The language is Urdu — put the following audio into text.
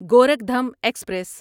گورکھدھم ایکسپریس